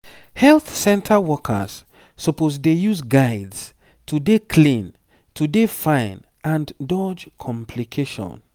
health center workers suppose dey use guides to dey clean to dey fine and dodge complication